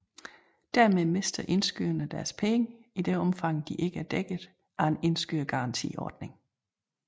Dermed mister indskyderne deres penge i det omfang de ikke er dækket af en indskydergarantiordning